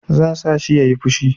Zan sa shi ya yi fushi.